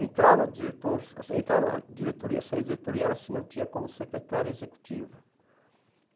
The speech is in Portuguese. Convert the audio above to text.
Entrava diretor entrava diretoria, saía diretoria, ela se mantinha como secretária executiva.